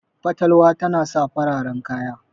fatalwa tana sa fararen kaya